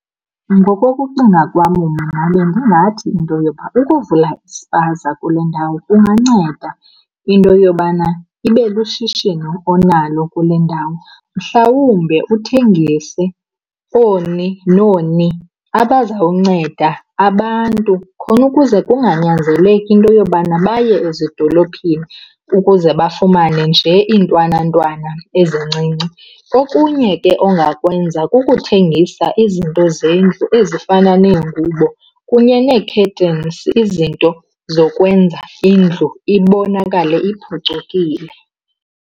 Ngokokucinga kwam mna bendingathi into yoba ukuvula ispaza kule ndawo kunganceda into yobana ibe lushishino onalo kule ndawo. Mhlawumbe uthengise ooni nooni abazawunceda abantu khona ukuze kunganyanzeleki into yobana baye ezidolophini ukuze bafumane nje iintwanantwana ezincinci. Okunye ke ongawenza kukuthengisa izinto zendlu ezifana neengubo kunye nee-curtains, izinto zokwenza indlu ibonakale iphucukile.